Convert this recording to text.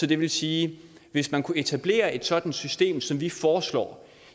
det vil sige at hvis man kunne etablere et sådant system som vi foreslår